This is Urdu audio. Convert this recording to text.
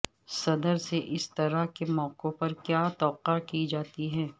صدر سے اس طرح کے موقعوں پر کیا توقع کی جاتی ہے